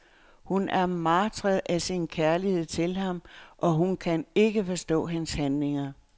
Hun er martret af sin kærlighed til ham, og hun kan ikke forstå hans handlinger.